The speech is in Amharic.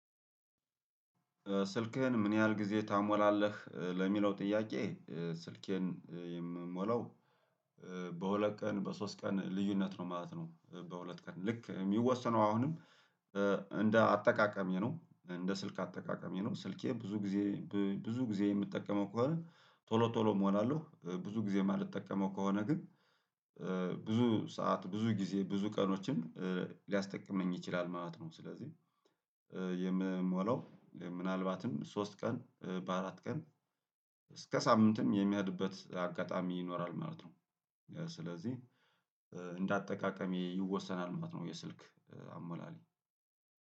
ስልክህን ምን ያህል ጊዜ ታሞላለህ ለሚለው ጥያቄ? ስልኬን የምሞላው በሁለት ቀን በሶስት ቀን ልዩነት ነው ማለት ነው። በሁለት ቀን ልክ የሚወሰነው አሁንም እንደ አጠቃቀሜ ነው። እንደ ስልክ አጠቃቀሜ ነው ስልኬ ብዙ ጊዜ ብዙ ጊዜ የምጠቀመው ከሆነ ቶሎ ቶሎ እሞላለሁ። ብዙ ጊዜ የማልጠቀመው ከሆነ ግን ብዙ ሰዓት ብዙ ጊዜ ብዙ ቀኖችን ሊያስጠቅመኝ ይችላል ማለት ነው። ስለዚህ የምሞላው ምናልባትም ሶስት ቀን በአራት ቀን እስከ ሳምንትም የሚሄድበት አጋጣሚ ይኖራል ማለት ነው። ስለዚህ እንደ አጠቃቀሜ ይወሰናል ማለት ነው። የስልክ አሞላሌ